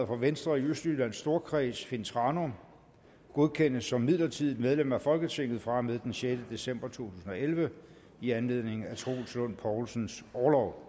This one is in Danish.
for venstre i østjyllands storkreds finn thranum godkendes som midlertidigt medlem af folketinget fra og med den sjette december to tusind og elleve i anledning af troels lund poulsens orlov